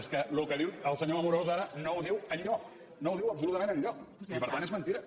és que el que diu el senyor amorós ara no ho diu enlloc no ho diu absolutament enlloc i per tant és mentida